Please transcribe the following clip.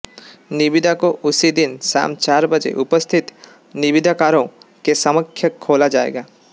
निविदा को उसी दिन शाम चार बजे उपस्थित निविदाकारों के समक्ष खोला जाएगा